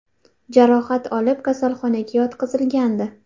jarohat olib, kasalxonaga yotqizilgandi.